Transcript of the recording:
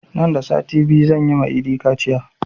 Nan da sati biyu zan yi ma idi kaciya